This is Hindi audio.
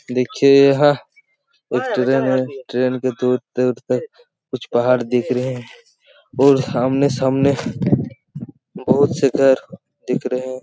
देखिये यह एक ट्रैन है ट्रैन के दूर-दूर तक कुछ पहाड़ दिख रहे हैं और आमने सामने बहुत से घर दिख रहे है।